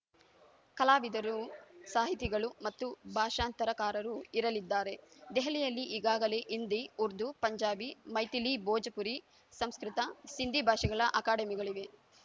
ಕಲಾವಿದರು ಸಾಹಿತಿಗಳು ಮತ್ತು ಭಾಷಾಂತರಕಾರರು ಇರಲಿದ್ದಾರೆ ದೆಹಲಿಯಲ್ಲಿ ಈಗಾಗಲೇ ಹಿಂದಿ ಉರ್ದು ಪಂಜಾಬಿ ಮೈಥಿಲಿಭೋಜಪುರಿ ಸಂಸ್ಕೃತ ಸಿಂಧಿ ಭಾಷೆಗಳ ಅಕಾಡೆಮಿಗಳಿವೆ